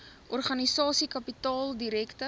organisasie kapitaal direkte